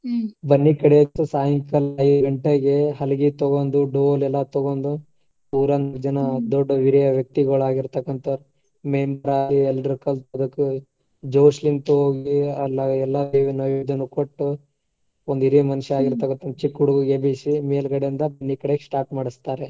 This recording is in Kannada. ಬನ್ನಿ ಕಡಿವಂತದು ಸಾಯಂಕಾಲ ಐದ್ ಗಂಟೆಗೆ ಹಲಗಿ ತಗೊಂಡು, ಡೋಲು ಎಲ್ಲ ತಗೊಂಡು ಊರಾನ್ ಜನಾ ದೊಡ್ಡ್ ಹಿರಿಯ ವ್ಯಕ್ತಿಗಳಾಗಿರ್ತಾಕ್ಕಂತಾವ್ರ್ ದೇವಸ್ಥಾನಕ್ ಹೋಗಿ ಎಲ್ಲೇ ಎಲ್ಲಾ ದೇವರ ನೈವೇದ್ಯದು ಕೊಟ್ಟು ಒಂದು ಹಿರಿಯ ಮನಷಾ ಚಿಕ್ಕ ಹುಡ್ಗನ್ ಎಬ್ಬಿಸಿ ಮೇಲ್ಗಡೆಯಿಂದ ಬನ್ನಿ ಕಡಿಯಾಕ್ start ಮಾಡಿಸ್ತಾರೆ.